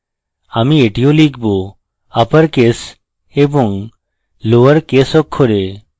আমি এটিও লিখবআপার case এবং লোয়ার case অক্ষর